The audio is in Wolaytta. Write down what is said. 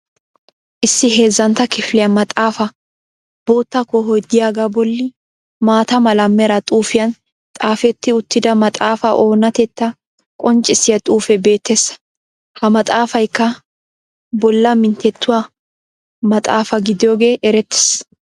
Issi heezzantta kifiliya maxxaafaa bootta koohoy diyaagaa bolli maata mala meraa xuufiyaan xaafetti uttida maxxaafaa onatetaa qonccissiya xuufee beettees. Ha maxxaafaykka bollaa minttettuwaa maxxaafaa gidiyoogee erettees.